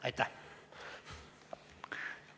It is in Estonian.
Aitäh!